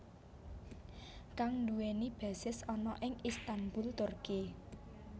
Kang nduwèni basis ana ing Istanbul Turki